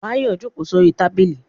Báyọ̀ jókòó sórí tábìlì